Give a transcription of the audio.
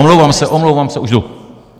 Omlouvám se, omlouvám se, už jdu.